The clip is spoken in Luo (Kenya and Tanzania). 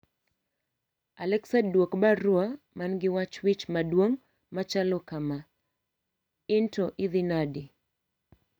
Alexa duok baruwa man gi wach wich maduong' machalo kama ,in to idhi nade?